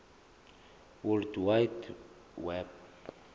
world wide web